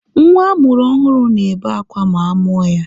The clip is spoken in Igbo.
Nwa amụrụ ọhụrụ na-ebe akwa ma a mụọ ya.